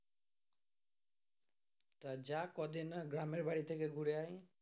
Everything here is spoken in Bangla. তা যা কদিন গ্রামের বাড়ি থাকে ঘুরে আই।